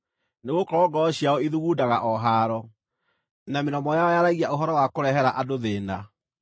nĩgũkorwo ngoro ciao ithugundaga o haaro, na mĩromo yao yaragia ũhoro wa kũrehere andũ thĩĩna.